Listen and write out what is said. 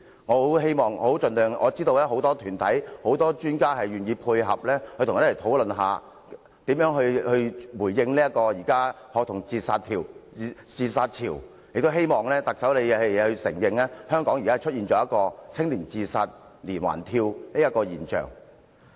我知道很多專家和團體都願意配合，一起討論如何回應現時的學童自殺潮，我希望特首能承認香港正出現"青年自殺連環跳"的現象。